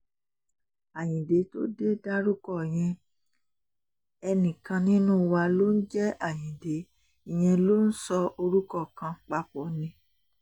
ayíǹde tó dé dárúkọ yẹn ẹnìkan nínú wa ló ń jẹ́ ayíǹde ìyẹn ló ń sọ orúkọ kan papọ̀ ni